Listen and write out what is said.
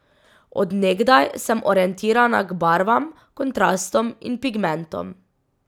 Od nekdaj sem orientirana k barvam, kontrastom in pigmentom.